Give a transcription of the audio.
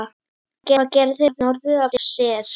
Hvað gerði norður af sér?